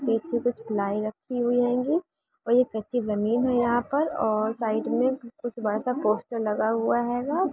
पीछे कुछ प्लाई ही रखी हैंगी और ये कची बनी हे यहाँ पर और साइड में कुछ बाड़क़ा पोस्टर हुआ हेगो।